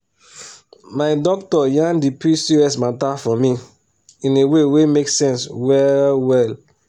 my doctor yan the pcos matter for me in a way wey make sense well well.